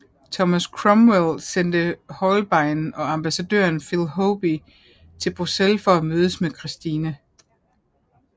Thomas Cromwell sendte Holbein og ambassadøren Philip Hoby til Bruxelles for at mødes med Christine